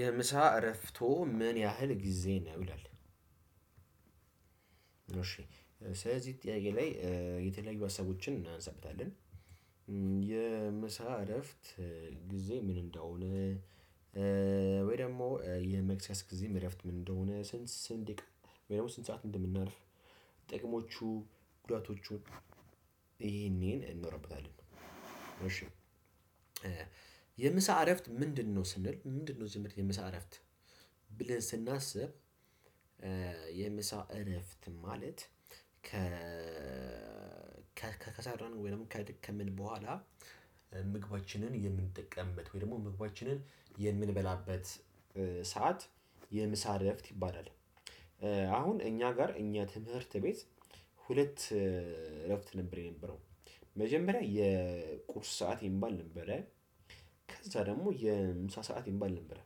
የምሳ እረፍቶ ምን ያህል ጊዜ ነው ይላል? እሺ ስለዚህ ጥያቄ ላይ የተለያዩ ሀሳቦችን እናንሳበታለን። የምሳ እረፍት ጊዜ ምን እንደሆነ ወይ ደግሞ የመክሰስ ጊዜም እረፍት ምን እንደሆነ ስንት ስንት ደቂቃ ወይ ደግሞ ስንት ሰዓት እንደምናርፍ ጥቅሞቹ ጉዳቶቹን ይሄን ይሄን እናወራበታለን። እሺ የምሳ እረፍት ምንድነው ስንል ምንድነው ምንድነው? የምሳ እረፍት ብለን ስናስብ የምሳ እረፍት ማለት ከሰራን ወይም ከደከምን በኋላ ምግባችንን የምንጠቀምበት ወይ ደግሞ ምግባችንን የምንበላበት ሰዓት የምሳ እረፍት ይባላል። አሁን እኛ ጋር እኛ ትምህርት ቤት ሁለት እረፍት ነበር የነበረው መጀመሪያ የቁርስ ሰዓት የሚባል ነበረ። ከዛ ደግሞ የምሳ ሰዓት የሚባል ነበረ።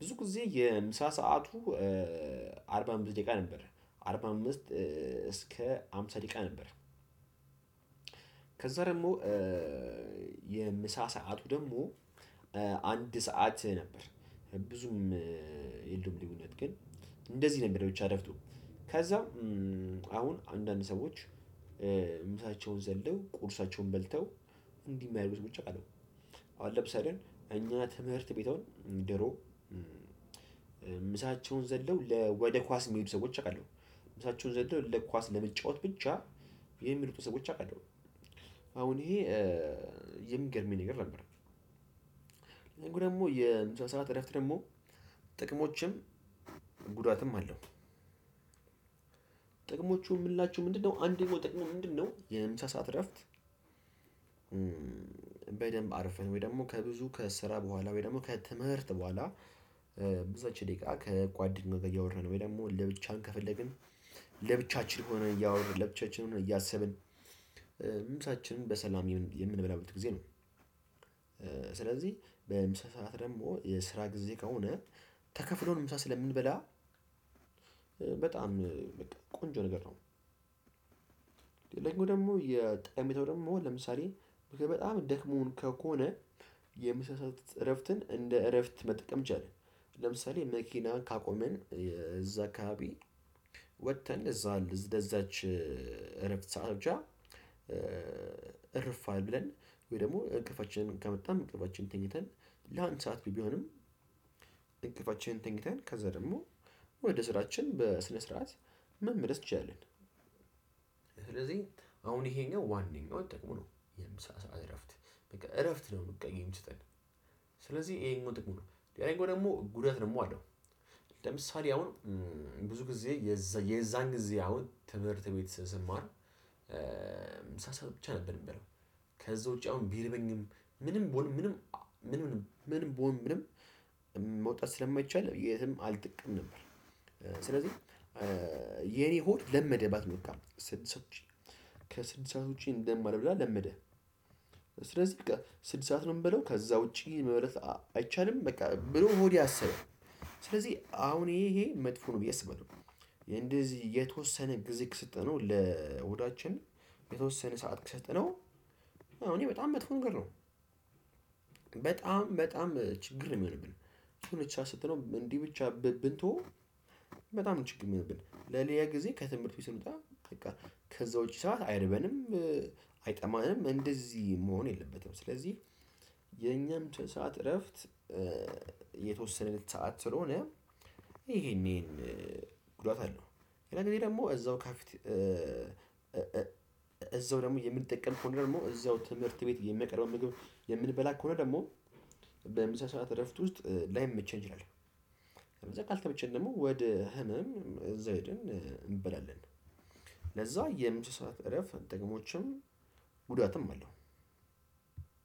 ብዙ ጊዜ የምሳ ሰዓቱ አርባ አምስት ደቂቃ ነበር አርባ አምስት እስከ ሃምሳ ደቂቃ ነበር። ከዛ ደግሞ የምሳ ሰዓቱ ደግሞ አንድ ሰዓት ነበር። ብዙም የለውም ልዩነት ግን እንደዚህ ነበር ብቻ ረፍቱ ከዛም አሁን አንዳንድ ሰዎች ምሳቸውን ዘለው ቁርሳቸውን በልተው። እንዲህ የማያደርጉ ሰዎች አቃለው አሁን ለምሳሌ እኛ ትምህርት ቤት እንደ እሮብ ምሳቸውን ዘለው ለ ወደ ኳስ የሚሄዱ ሰዎች አውቃለሁ። ምሳቸውን ዘለው ለኳስ ለመጫወት ብቻ የሚሄዱትን ሰዎች አቃለው። አሁን ይሄ የሚገርመኝ ነገር ነበር። ደግሞ የምሳ ሰዓት እረፍት ደግሞ ጥቅሞችም ጉዳትም አለው። ጥቅሞቹ የምንላችው ምንድነው አንደኛው ጥቅሙ ምንድነው? የምሳ ሰዓት እረፍት በደንብ አርፈን ወይ ደግሞ ከብዙ ከስራ በኋላ ወይ ደግሞ ከትምህርት በኋላ ብዛች ደቂቃ ከጓደኛው እያወራን ወይ ደግሞ ለብቻን ከፈለግን ለብቻችን ሆነን እያወራን ለብቻችን ሆነን እያሰብን ምሳችንን በሰላም የምንበላበት ጊዜ ነው። ስለዚህ በምሳ ሰዓት ደግሞ የስራ ጊዜ ከሆነ ተከፍሎን ምሳ ስለምንበላ በጣም ቆንጆ ነገር ነው። ሌላኛው ደግሞ ጠቀሜታው ደግሞ ለምሳሌ በጣም ደክሞን ከሆነ የምሳ ሰዓት እረፍትን እንደ እረፍት መጠቀም እንችላለን። ለምሳሌ መኪና ካቆመን እዛ አካባቢ ወጥተን እዛ ለዛች እረፍት ሰዓት ብቻ እረፍ ብለን ወይ ደግሞ እንቅልፋችንም ከመጣም እንቅልፋችንን ተኝተን ለአንድ ሰዓት ቢሆንም እንቅልፋችንን ተኝተን ከዛ ደግሞ ወደ ስራችን በስነ ስርዓት መመለስ እንችላለን። ስለዚህ አሁን ይሄኛው ዋነኛው ጥቅሙ ነው የምሳ ሰዓት እረፍት በቃ እረፍት ነው በቃ የሚሰጠን ስለዚህ ይሄኛው ጥቅሙ ነው ሌላኛው ደግሞ ጉዳት ደግሞ አለው። ለምሳሌ አሁን ብዙ ጊዜ የዛን ጊዜ አሁን ትምህርት ቤት ስማር ምሳ ሰዓት ብቻ ነበር የምበለው ከዛ ውጪ አሁን ቢርበኝም ምንም ብሆን ምንም ምንም ብሆን ምንም መውጣት ስለማይቻል የትም አልጠቀምም ነበር። ስለዚህ የኔ ሆድ ለመደባት በቃ ስድስት ሰዓት ውጪ ከስድስት ሰዓት ውጪ እንደማልብላ ለመደ ስለዚህ በቃ ስድስት ሰዓት ነው የምበለው ከዛ ውጪ መብላት አይቻልም በቃ ብሎ ሆዴ አሰበ። ስለዚህ አሁን ይሄ መጥፎ ነው ብዬ አስባለሁ። እንደዚህ የተወሰነ ግዜ ከሰጠነው ለሆዳችን የተወሰነ ሰዓት ከሰጠነው አው ይሄ በጣም መጥፎ ነገር ነው። በጣም በጣም ችግር ነው የሚሆንብን። እንዲህ ብቻ ስትለው እንዲህ ብቻ ብንተወው በጣም ችግር ነው የሆነብን ለኔ የሆነ ጊዜ ከትምህርት ውስጥ ስንወጣ በቃ ከዛ ውጪ ሰዓት አይርበንም። አይጠማንም እንደዚህ መሆን የለበትም ስለዚህ የኛም ሰዓት እረፍት የተወሰነለት ሰዓት ስለሆነ ይሄን ይሄን ጉዳት አለው። ሌላ ጊዜ ደግሞ እዛው ከፊት እዛው ደግሞ የምንጠቀም ከሆነ ደግሞ እዛው ትምህርት ቤት የሚያቀርበውን ምግብ የምንበላ ከሆነ ደግሞ በምሳ ሰዓት እረፍት ውስጥ ላይመቸን ይቸለል ከዛ ካልተመቸን ደግሞ ወደ ህመም እዛው ሄደን እንበላለን። ለዛ የምሳ ሰዓት እረፍት ጥቅሞችም ጉዳትም አለው።